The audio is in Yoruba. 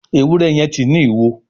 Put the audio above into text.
Ewúrẹ́ yen tí ní ìwo.